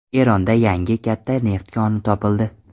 Eronda yangi katta neft koni topildi.